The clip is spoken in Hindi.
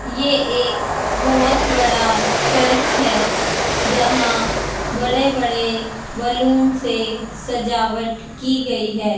ये एक बहुत बड़ा चर्च है यहां बड़े बड़े बैलून से सजावट की गई है।